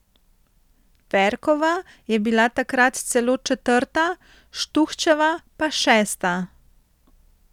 Ferkova je bila takrat celo četrta, Štuhčeva pa šesta.